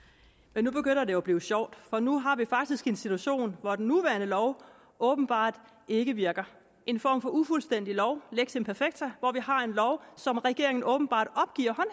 nu begynder det at blive sjovt for nu har vi faktisk en situation hvor den nuværende lov åbenbart ikke virker en form for ufuldstændig lov lex imperfecta hvor vi har en lov som regeringen åbenbart opgiver